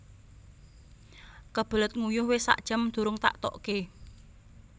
Kebelet nguyuh wis sak jam durung tak tokke